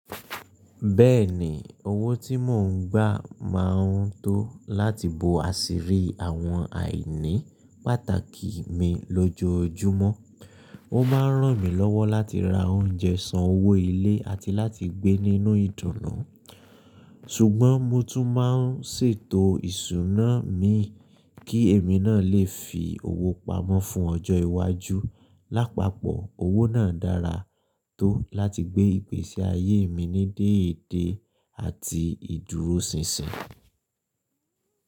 Bẹ́ẹ̀ni, owó tí mò ń gbà máa ń tó láti bo àṣírí àwọn àìní pàtàkì mi lójoojúmọ́. Ó máa ń ràn mí lọ́wọ́ láti ra oúnjẹ, san owó ilé, àti láti gbé nínú ìdùnnú. Ṣùgbọ́n mo tún máa ń ṣètò ìṣúná mi kí èmi náà lè fi owó pamọ́ fún ọjọ́ iwájú. Lápapọ̀, owó náà dára tó láti gbé ìgbésí ayé mi ní déédéé àti ìdúróṣinṣin.